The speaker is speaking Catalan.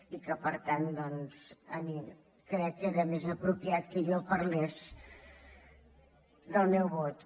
i que per tant doncs crec que era més apropiat que jo parlés del meu vot